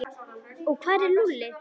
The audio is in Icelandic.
Og hvar er Lúlli?